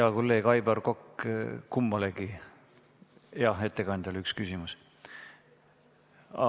Hea kolleeg Aivar Kokk, kummalegi ettekandjale on üks küsimus.